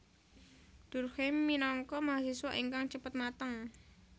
Durkheim minangka mahasiswa ingkang cepet mateng